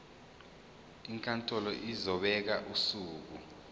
inkantolo izobeka usuku